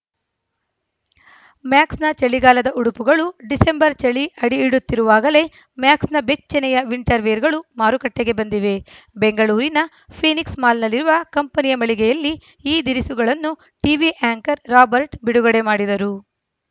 ಮ್ಯಾಕ್ಸ್‌ನ ಚಳಿಗಾಲದ ಉಡುಪುಗಳು ಡಿಸೆಂಬರ್‌ ಚಳಿ ಅಡಿಯಿಡುತ್ತಿರುವಾಗಲೇ ಮ್ಯಾಕ್ಸ್‌ನ ಬೆಚ್ಚನೆಯ ವಿಂಟರ್‌ ವೇರ್‌ಗಳು ಮಾರುಕಟ್ಟೆಗೆ ಬಂದಿವೆ ಬೆಂಗಳೂರಿನ ಫೀನಿಕ್ಸ್‌ ಮಾಲ್‌ನಲ್ಲಿರುವ ಕಂಪೆನಿಯ ಮಳಿಗೆಯಲ್ಲಿ ಈ ದಿರಿಸುಗಳನ್ನು ಟಿವಿ ಆ್ಯಂಕರ್‌ ರಾಬರ್ಟ್‌ ಬಿಡುಗಡೆ ಮಾಡಿದರು